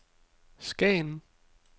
Skagen